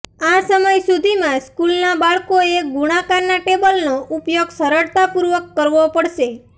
આ સમય સુધીમાં સ્કૂલનાં બાળકોએ ગુણાકારના ટેબલનો ઉપયોગ સરળતાપૂર્વક કરવો પડશે